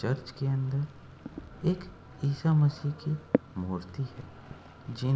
Church के अंदर एक ईसा मसीह की मूर्ति है। जिन --